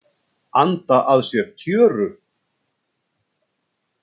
Anda að sér tjöru.